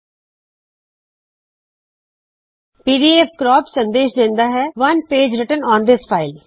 PDF ਕਰੈਪ ਸੰਦੇਸ਼ ਦਿੰਦਾ ਹੈ one page written on this file file ਵਿੱਚ ਇਕ ਸਫਾ ਲਿਖਿਆ ਗਇਆ ਹੈ